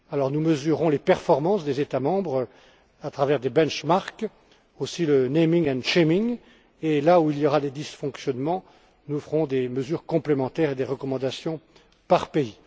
Nous mesurerons alors les performances des États membres à travers des benchmarks et le naming and shaming et là où il y aura des dysfonctionnements, nous ferons des mesures complémentaires et des recommandations par pays.